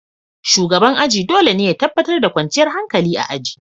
Shugaban aji dole ne ya tabbatar da kwanciyar hankali a aji.